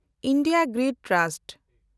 India Grid trust